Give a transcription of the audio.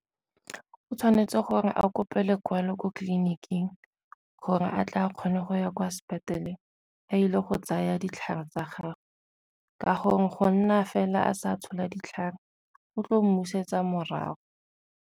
O tshwanetse gore a kope lekwalo ko tleliniking gore a tla kgone go ya kwa a ile go tsaya ditlhare tsa gago, ka gore go nna fela a sa tshola ditlhare o tlo mmusetsa morago.